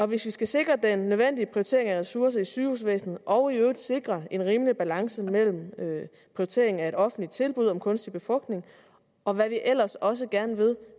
vi skal sikre den nødvendige prioritering af ressourcer i sygehusvæsenet og i øvrigt sikre en rimelig balance mellem prioriteringen af et offentligt tilbud om kunstig befrugtning og hvad vi ellers også gerne